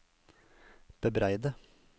bebreide